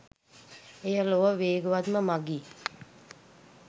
එය ලොව වේගවත්ම මගී